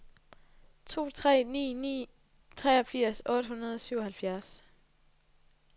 to tre ni ni treogfirs otte hundrede og syvoghalvfjerds